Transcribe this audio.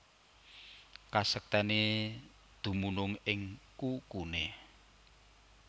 Kasektèné dumunung ing kukuné